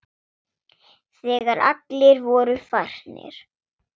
Þegar allir voru farnir.